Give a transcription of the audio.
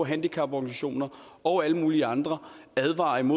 handicaporganisationerne og alle mulige andre advarer om